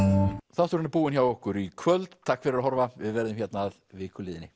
þátturinn er búinn hjá okkur í kvöld takk fyrir að horfa við verðum hérna að viku liðinni